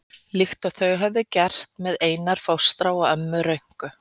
Líkt og þau höfðu áður gert með Einar fóstra og ömmu Rönku.